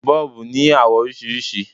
Bọ́ọ̀bù ní àwọ̀ oríṣiríṣi.